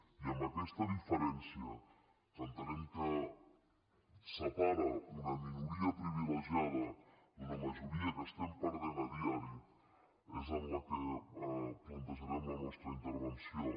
i en aquesta diferència que entenem que separa una minoria privilegiada d’una majoria que estem perdent a diari és en la que plantejarem la nostra intervenció